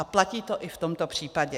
A platí to i v tomto případě.